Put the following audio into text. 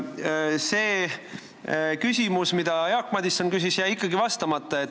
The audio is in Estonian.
Aga sellele küsimusele, mida Jaak Madison küsis, jäi teil ikkagi vastamata.